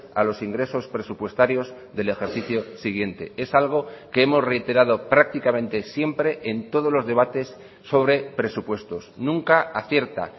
a los ingresos presupuestarios del ejercicio siguiente es algo que hemos reiterado prácticamente siempre en todos los debates sobre presupuestos nunca acierta